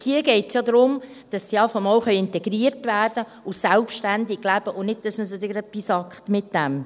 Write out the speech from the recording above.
Dort geht es ja darum, dass sie mal integriert werden und selbständig leben können, und nicht, dass man sie dann gerade damit piesackt.